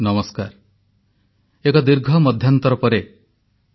• ଭୁବନେଶ୍ୱରର ସୀତାଂଶୁ ମୋହନ ପରିଡ଼ାଙ୍କ ବାର୍ତ୍ତା ବିଷୟରେ ଉଲ୍ଲେଖ କଲେ ପ୍ରଧାନମନ୍ତ୍ରୀ